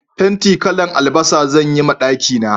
Fenti kalan albasa zan yi ma daki na